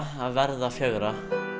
að verða fjögurra